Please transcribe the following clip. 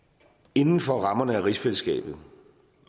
inden for rammerne af rigsfællesskabet